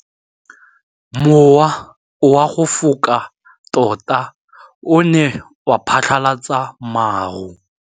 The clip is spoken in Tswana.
Mowa o wa go foka tota o ne wa phatlalatsa maru.